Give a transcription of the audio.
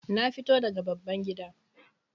Na fito daga babban gida